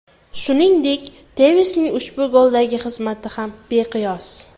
Shuningdek, Tevesning ushbu goldagi xizmatlari ham beqiyos.